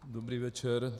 Dobrý večer.